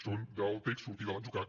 són del text sortir de l’atzucac